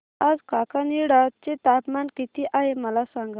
आज काकीनाडा चे तापमान किती आहे मला सांगा